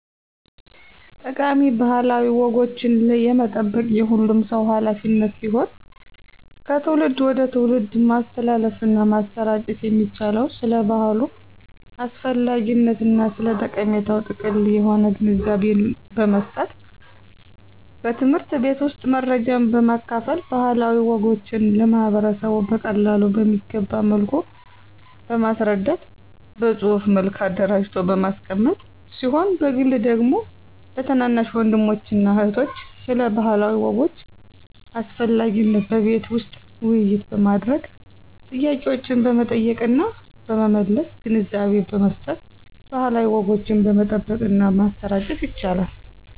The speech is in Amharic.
ጠቃሚ ባህላዊ ወጎችን የመጠበቅ የሁሉም ሰው ሀላፊነት ሲሆን ከትውልድ ወደ ትውልድ ማስተላለፍና ማሰራጨት የሚቻለው ስለ ባህሉ አስፈላጊነትና ስለ ጠቀሜታው ጥልቅ የሆነ ግንዛቤን በመስጠት በትምህርት ቤት ውስጥ መረጃን በማካፈል ባህላዊ ወጎችን ለማህበረሰቡ በቀላሉ በሚገባ መልኩ በማስረዳት በፅሁፍ መልክ አደራጅቶ በማስቀመጥ ሲሆን በግል ደግሞ ለታናናሽ ወንድሞችና እህቶች ስለ ባህላዊ ወጎች አስፈላጊነት በቤት ውስጥ ውይይት በማድረግ ጥያቄዎችን በመጠየቅና በመመለስ ግንዛቤ በመስጠት ባህላዊ ወጎችን መጠበቅና ማሰራጨት ይቻላል።